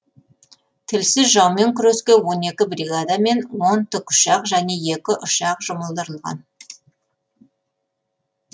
тілсіз жаумен күреске он екі бригада мен он тікұшақ және екі ұшақ жұмылдырылған